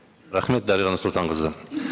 рахмет дариға нұрсұлтанқызы